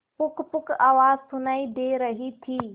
पुकपुक आवाज सुनाई दे रही थी